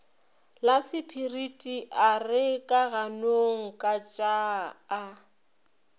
lasepiriti a re kaganongkatšaa a